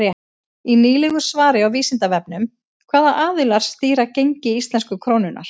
Í nýlegu svari á Vísindavefnum Hvaða aðilar stýra gengi íslensku krónunnar?